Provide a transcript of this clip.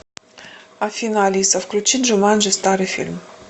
афина алиса включи джуманджи старый фильм